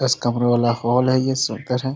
दस कमरे वाले हॉल है ये सुंदर है।